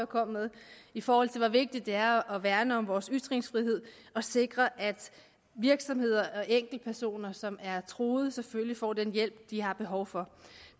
kom med i forhold til hvor vigtigt det er at værne om vores ytringsfrihed og sikre at virksomheder og enkeltpersoner som er truet selvfølgelig får den hjælp de har behov for